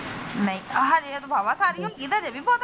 ਨਹੀਂ ਆਹਾ ਹਜੇ ਵੀ।